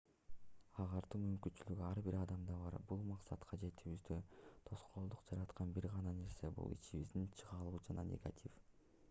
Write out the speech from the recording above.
агартуу мүмкүнчүлүгү ар бир адамда бар бул максатка жетүүбүздө тоскоолдук жараткан бир гана нерсе бул ичибиздеги чыңалуу жана негатив